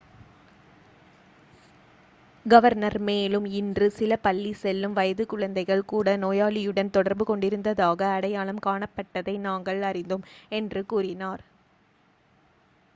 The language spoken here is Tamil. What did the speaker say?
"கவர்னர் மேலும் "இன்று சில பள்ளி செல்லும் வயது குழந்தைகள் கூட நோயாளியுடன் தொடர்பு கொண்டிருந்ததாக அடையாளம் காணப்பட்டதை நாங்கள் அறிந்தோம்." என்று கூறினார்.